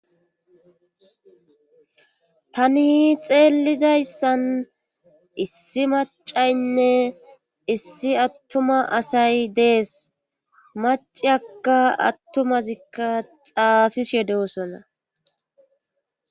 tani xeellizayssan issi macaynne issi attuma asay dees maciyakka attumazikka xaafishe yedosona